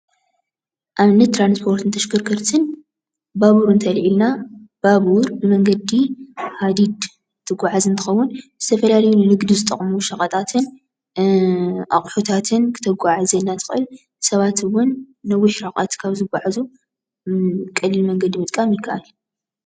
ኣብነት ትራንስፖርትን ተሽከርከርቲ ባቡር እንተኣልዒልና ባቡር ንመንገዲ ሃዲድ እትጉዓዝ እንትከውን ዝተፈላለዩ ንግዲ ዝጠቅሙ ሸቀጣትን ኣቁሑታትን ክተጉዓዕዘልና ትክእል፣ ሳባት እውን ንነዊሕ ርሕቀት ካብ ዝጉዓዙ ቀሊል መንገዲ ምጥቃም ይከኣል እዩ።